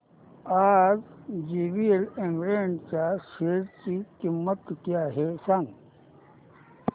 आज JVL agro ind च्या share ची किंमत किती आहे सांगा